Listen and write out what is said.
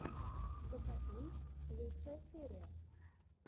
закатун лучшая серия